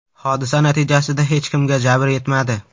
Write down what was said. Hodisa natijasida hech kimga jabr yetmadi.